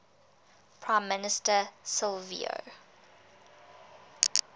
prime minister silvio